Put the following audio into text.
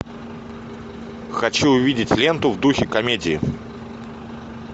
хочу увидеть ленту в духе комедии